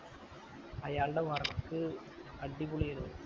അയാളുടെ work അടിപൊളി ആയിരുന്നു